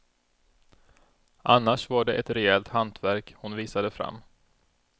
Annars var det ett rejält hantverk hon visade fram.